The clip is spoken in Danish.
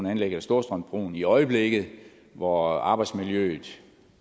anlægget af storstrømsbroen i øjeblikket hvor arbejdsmiljøet